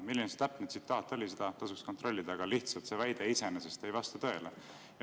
Milline see täpne tsitaat oli, seda tasuks kontrollida, aga lihtsalt see väide iseenesest ei vasta tõele.